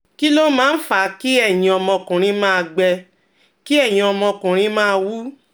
Kí ló máa ń fa kí ẹyin ọmọkùnrin máa gbẹ, kí ẹyin ọmọkùnrin máa wú?